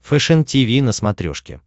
фэшен тиви на смотрешке